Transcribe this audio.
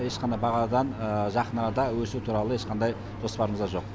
ешқандай бағадан жақын арада өсу туралы ешқандай жоспарымызда жоқ